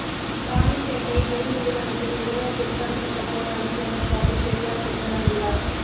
இராணிப்பேட்டை பெல் நிறுவனத்தின் இதர பிற்படுத்தப்பட்டோர் நலச்சங்கம் சார்பில் பெரியார் பிறந்தநாள் விழா